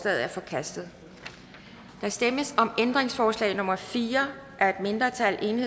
er forkastet der stemmes om ændringsforslag nummer fire af et mindretal